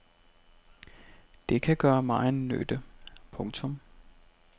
Det kan gøre megen nytte. punktum